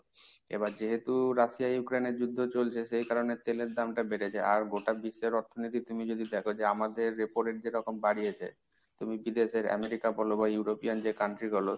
এবার যেহেতু Russia Ukraine এর যুদ্ধ চলছে সেই কারণে তেলের দামটা বেড়েছে। আর গোটা বিশ্বের অর্থনীতি তুমি যদি দেখো যে আমাদের repo rate যে রকম বাড়িয়েছে তুমি বিদেশের America বল বা European যে country গুলো